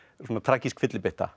svona tragísk fyllibytta